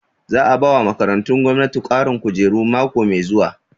Za a bawa makarantu gwamnati ƙarin kujeru mako mai zuwa